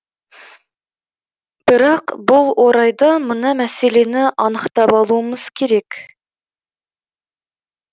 бірақ бұл орайда мына мәселені анықтап алуымыз керек